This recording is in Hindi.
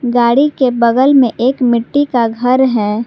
गाड़ी के बगल में एक मिट्टी का घर है।